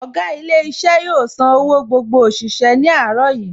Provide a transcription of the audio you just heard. Ọ̀gá ilé iṣẹ́ yóò san owó gbogbo òṣìṣẹ́ ní àárọ̀ yìí